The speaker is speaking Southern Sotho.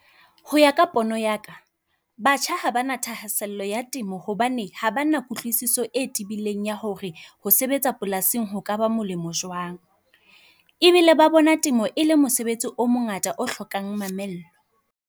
Ho ya ka pono ya ka, batjha ha bana thahasello ya temo hobane ha bana kutlwisiso e tebileng ya hore ho sebetsa polasing ho kaba molemo jwang. Ebile ba bona temo e le mosebetsi o mongata o hlokang mamello.